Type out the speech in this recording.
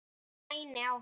Ég mæni á hann.